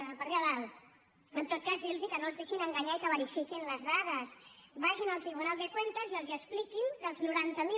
per allà dalt en tot cas dir los que no es deixin enganyar i que verifiquin les dades vagin al tribunal de cuentas i els expliquin que els noranta mil